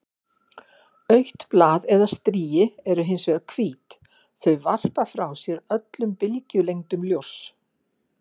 Autt blað eða strigi eru hins vegar hvít- þau varpa frá sér öllum bylgjulengdum ljóss.